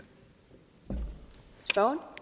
tror